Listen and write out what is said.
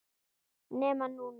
Nema hún.